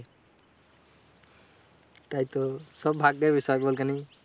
তাইতো সব ভাগ্যের বিষয় বল খানি?